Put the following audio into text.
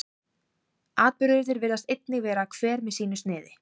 atburðirnir virðist einnig vera hver með sínu sniði